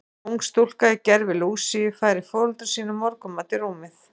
Ung stúlka í gervi Lúsíu færir foreldrum sínum morgunmat í rúmið.